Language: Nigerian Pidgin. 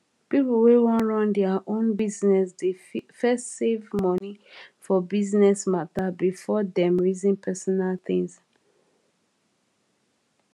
people wey wan run their own business dey first save money for business mata before dem reason personal tins